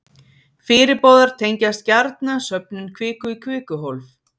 fyrirboðar tengjast gjarna söfnun kviku í kvikuhólf